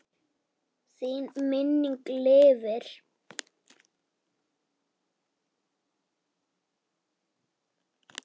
Þín minning lifir.